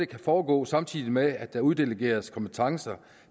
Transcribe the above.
kan foregå samtidig med at der uddelegeres kompetencer